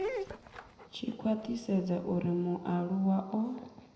tshi khwathisedza uri mualuwa o